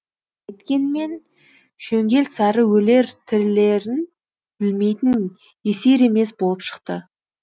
әйткенмен шөңгел сары өлер тірілерін білмейтін есер емес болып шықты